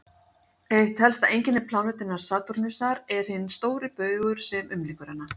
Eitt helsta einkenni plánetunnar Satúrnusar er hinn stóri baugur sem umlykur hana.